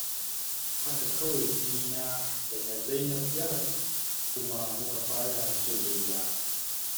Haka kawai jinina da na Zainab ya haɗu, kuma muka fara soyayya.